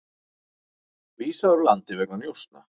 Vísað úr landi vegna njósna